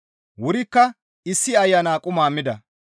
Wurikka issi ayana quma mida.